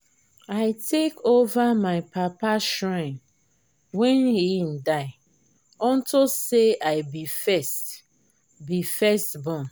i take over my papa shrine wen he die unto say i be first be first born